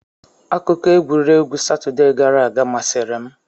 Akụkọ egwuregwu Satọde gara aga masịrị m.